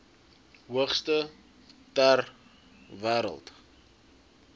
hoogste ter wêreld